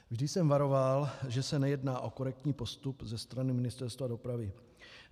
Vždy jsem varoval, že se nejedná o korektní postup ze strany Ministerstva dopravy.